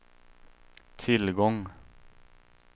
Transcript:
tillgång